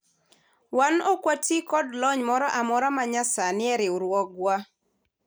wan ok watii kod lony moro amora ma nya sani e riwruowga